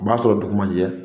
Un b'a sɔrɔ dugu man ɲɛ